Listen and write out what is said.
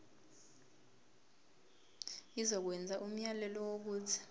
izokwenza umyalelo wokuthi